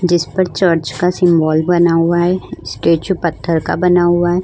जिस पर चर्च का सिंबल बना हुआ है स्टेचू पत्थर का बना हुआ है।